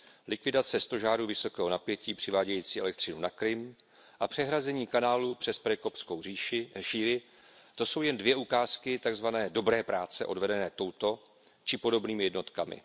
Likvidace stožárů vysokého napětí přivádějící elektřinu na Krym a přehrazení kanálu přes Perekopskou šíji to jsou jen dvě ukázky takzvané dobré práce odvedené touto či podobnými jednotkami.